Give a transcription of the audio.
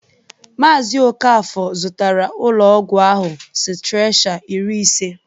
Maazị Okafor zụtara ụlọọgwụ ahụ sitrechar iri ise.